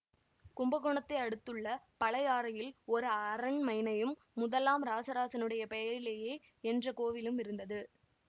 கும்பகோணத்தை அடுத்துள்ள பழையாறையில் ஒரு அரண்மைனையும் முதலாம் இராசராசனுடைய பெயரிலேயே என்ற கோவிலும் இருந்தது